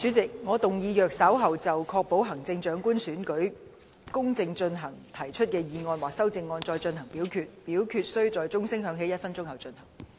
主席，我動議若稍後就"確保行政長官選舉公正進行"所提出的議案或修正案再進行點名表決，表決須在鐘聲響起1分鐘後進行。